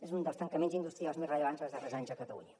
és un dels tancaments industrials més rellevants dels darrers anys a catalunya